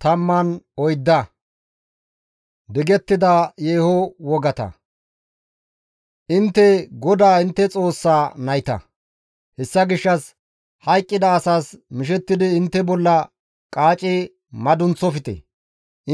Intte GODAA intte Xoossa nayta; hessa gishshas hayqqida asas mishettidi intte bolla qaaci madunththofte;